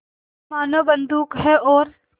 मानो बंदूक है और